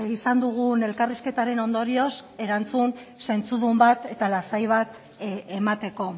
izan dugun elkarrizketaren ondorioz erantzun zentzudun bat eta lasai bat emateko